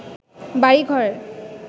বাড়িঘরের